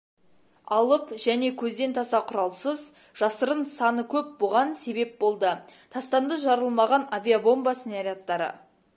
алып және көзден таса құралсыз жасырын саны көп бұған себеп болды тастанды жарылмаған авиабомба снарядтары